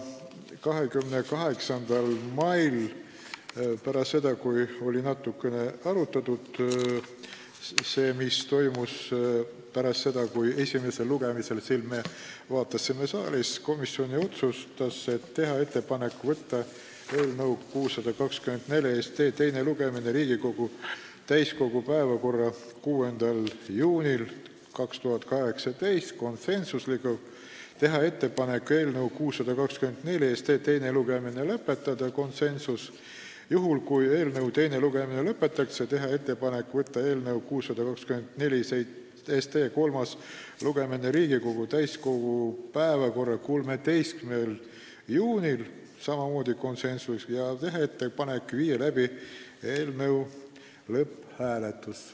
28. mail – pärast seda, kui oli natuke arutatud, mis oli toimunud pärast esimest lugemist, kui me seda siin saalis vaatasime – otsustas komisjon teha ettepaneku võtta eelnõu 624 teine lugemine Riigikogu täiskogu päevakorda 6. juuniks 2018 , teha ettepaneku eelnõu 624 teine lugemine lõpetada ning juhul, kui teine lugemine lõpetatakse, võtta eelnõu 624 kolmas lugemine Riigikogu täiskogu päevakorda 13. juuniks ja teha ettepaneku viia läbi eelnõu lõpphääletus .